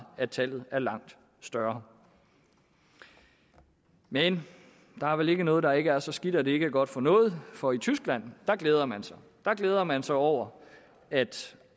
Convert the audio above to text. at tallet er langt større men der er vel ikke noget der ikke er så skidt at det ikke er godt for noget for i tyskland glæder man sig der glæder man sig over at